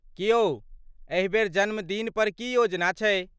की यौ, एहिबेर जन्मदिनपर की योजना छै?